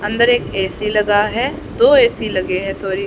अंदर एक ए_सी लगा हुआ है दो ए_सी लगे हैं सॉरी ।